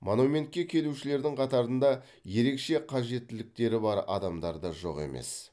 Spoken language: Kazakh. монументке келушілердің қатарында ерекше қажеттіліктері бар адамдар да жоқ емес